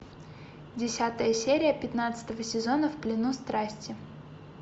десятая серия пятнадцатого сезона в плену страсти